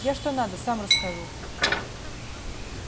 я что надо сам расскажу